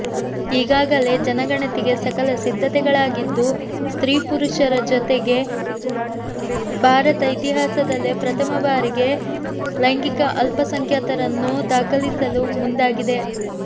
ಈಗಾಗಲೇ ಜನಗಣತಿಗೆ ಸಕಲ ಸಿದ್ದತೆಗಳಾಗಿದ್ದು ಸ್ತ್ರೀ ಪುರುಷರ ಜೊತೆಗೆ ಭಾರತ ಇತಿಹಾಸದಲ್ಲೇ ಪ್ರಥಮ ಬಾರಿಗೆ ಲೈಂಗಿಕ ಅಲ್ಪಸಂಖ್ಯಾತರನ್ನು ದಾಖಲಿಸಲು ಮುಂದಾಗಿದೆ